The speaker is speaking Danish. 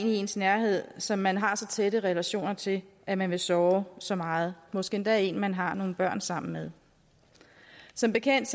i ens nærhed som man har så tætte relationer til at man vil såre så meget måske endda en man har nogle børn sammen med som bekendt